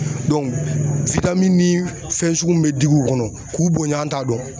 ni fɛn sugu min bɛ digi u kɔnɔ k'u bonya an t'a dɔn.